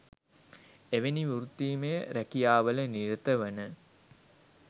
එවැනි වෘත්තීමය රැකියාවල නිරතවන